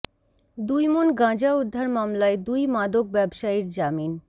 দুই মণ গাঁজা উদ্ধার মামলায় দুই মাদক ব্যবসায়ীর জামিন